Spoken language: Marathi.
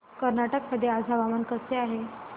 कर्नाटक मध्ये आज हवामान कसे आहे